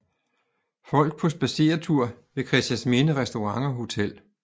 Folk på spadseretur ved Christiansminde restaurant og hotel